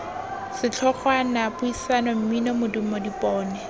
setlhogwana puisano mmino modumo dipone